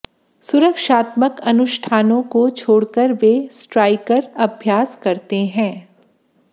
सुरक्षात्मक अनुष्ठानों को छोड़कर वे स्ट्राइकर अभ्यास करते हैं